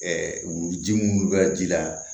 wuluji mun bɛ kɛ ji la